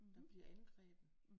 Der bliver angrebet